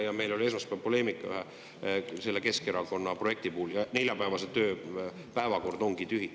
Meil oli esmaspäeval poleemika Keskerakonna puhul ja neljapäevane päevakord ongi tühi.